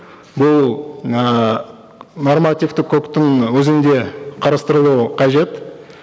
бұл ыыы нормативтік құқықтың өзінде қарастырылуы қажет